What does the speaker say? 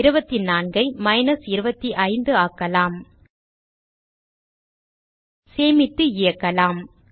24 ஐ மைனஸ் 25 ஆக்கலாம் சேமித்து இயக்கலாம்